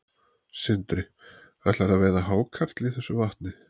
Sindri: Ætlarðu að veiða hákarl í þessu vatni?